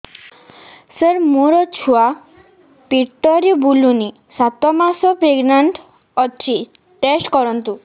ସାର ମୋର ଛୁଆ ପେଟରେ ବୁଲୁନି ସାତ ମାସ ପ୍ରେଗନାଂଟ ଅଛି ଟେଷ୍ଟ କରନ୍ତୁ